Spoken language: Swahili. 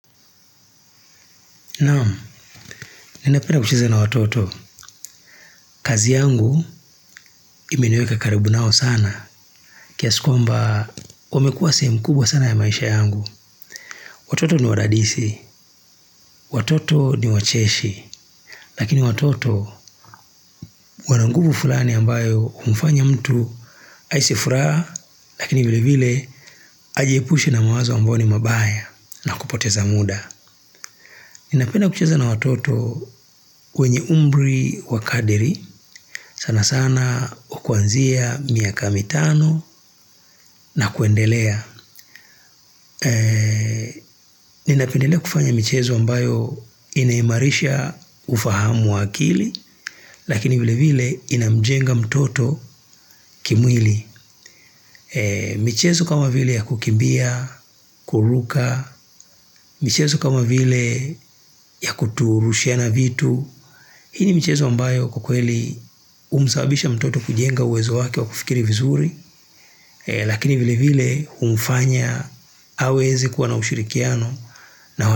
Naam, ninapenda kucheza na watoto, kazi yangu imeniweka karibu nao sana, kiasi kwamba wamekua sehemu kubwa sana ya maisha yangu. Watoto ni wadadisi, watoto ni wacheshi, lakini watoto wana nguvu fulani ambayo umfanya mtu aisi furaha, lakini vile vile ajiepushe na mawazo ambao ni mabaya na kupoteza muda. Ninapenda kucheza na watoto wenye umbri wa kadiri, sana sana wa kuanzia miaka mitano na kuendelea. Ninapendelea kufanya mchezo ambayo inaimarisha ufahamu wakili, lakini vile vile inamjenga mtoto kimwili. Mchezo kama vile ya kukimbia, kuruka, michezo kama vile ya kuturushia na vitu. Hini michezo ambayo kwa kweli umzsababisha mtoto kujenga uwezo wake wa kufikiri vizuri, lakini vile vile humfanya haweze kuwa na ushirikiano.